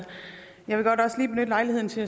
man så